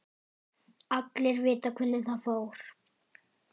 Allir vita hvernig það fór.